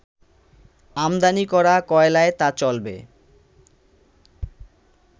আমদানি করা কয়লায় তা চলবে